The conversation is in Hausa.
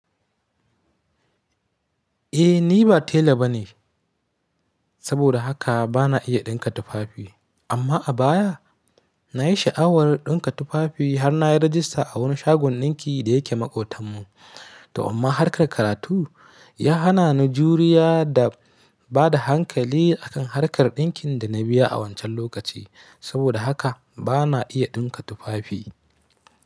Eh ni ba tela ba ne saboda haka bana iya ɗinka tufafi. Amma a baya nayi sha'awar ɗinka tufafi har nayi rajista a wani shagon ɗinki da yake maƙotanmu. To amma harkar karatu ya hana ni juriya da bada hankali akan harkar ɗinkin da na biya a wancan lokaci. Saboda haka bana iya ɗinka tufafi.